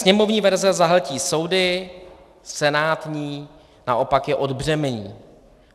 Sněmovní verze zahltí soudy, senátní naopak je odbřemení.